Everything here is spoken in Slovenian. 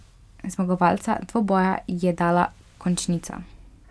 Zmagovalca dvoboja je dala končnica.